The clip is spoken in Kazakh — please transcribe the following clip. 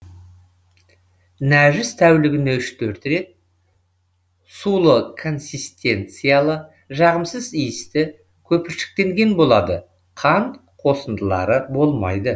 нәжіс тәулігіне үш төрт рет сулы консистенциялы жағымсыз иісті көпіршіктенген болады қан қосындылары болмайды